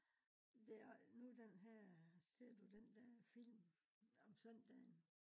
der er nu det her ser du den der film om søndagen